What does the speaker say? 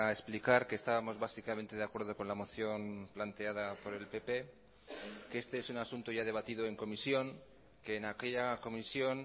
explicar que estábamos básicamente de acuerdo con la moción planteada por el pp que este es un asunto ya debatido en comisión que en aquella comisión